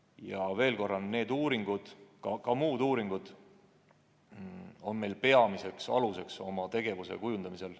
Ja veel kord: need uuringud ning ka muud uuringud on peamine alus Kaitseväe tegevuse kujundamisel.